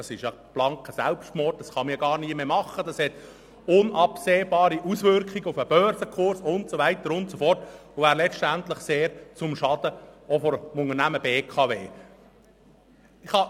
Das ist blanker Selbstmord und hat unabsehbare Auswirkungen auf den Börsenkurs und so weiter, was letztendlich auch sehr zum Schaden des Unternehmens BKW wäre.